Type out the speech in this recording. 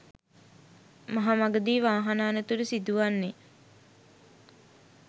මහ මඟදී වාහන අනතුරු සිදුවන්නේ